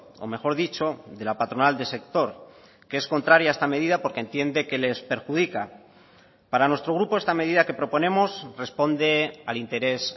o mejor dicho de la patronal del sector que es contraria a esta medida porque entiende que les perjudica para nuestro grupo esta medida que proponemos responde al interés